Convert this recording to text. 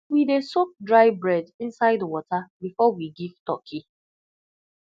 we dey soak dry bread inside water before we give turkey